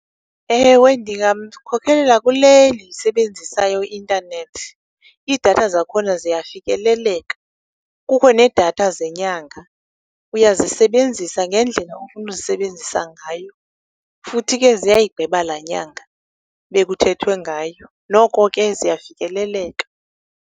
Ewe, ndingamkhokhelela kule ndiyisebenzisayo i-intanethi. Iidatha zakhona ziyafikeleleka, kukho needatha zenyanga, uyazisebenzisa ngendlela ofuna uzisebenzisa ngayo, futhi ke ziyayigqiba laa nyanga bekuthethwe ngayo. Noko ke ziyafikeleleka.